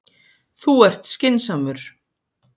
Þú ert skynsamur.